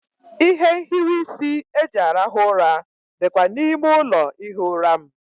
Ihe nhiwe isi eji arahụ ụra dịkwa n'ime ụlọ ihi ụra m.